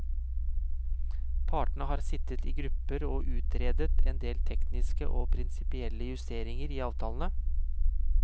Partene har sittet i grupper og utredet endel tekniske og prinsipielle justeringer i avtalene.